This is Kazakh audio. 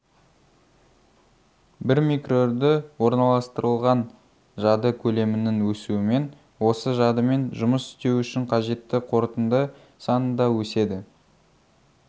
бір микроүрді орналастырылған жады көлемінің өсуімен осы жадымен жұмыс істеу үшін қажетті қорытынды саны да өседі